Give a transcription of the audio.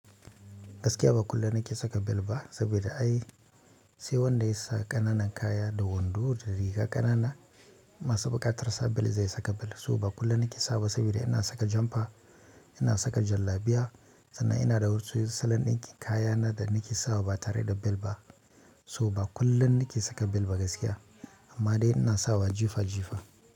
Gaskiya ba kullum nake saka bel ba, saboda ai sai wanda ya sa ƙananan kaya da wando da riga ƙanana masu buƙatar sa bel zai saka bel. So ba kullum na ke sawa saboda ina saka jampa, ina saka jallabiya, sannan ina da wasu salon ɗinkin kaya na da na ke sawa ba tare da bel ba. So ba kullum na ke saka bel ba gaskiya amma dai ina sawa jifa jifa.